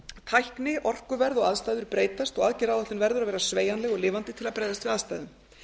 tækni orkuverð og aðstæður breytast og aðgerðaáætlun verður að vera sveigjanleg og lifandi til að bregðast við aðstæðum